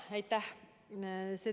Aitäh!